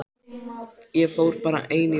Ég fór bara ein í bæinn.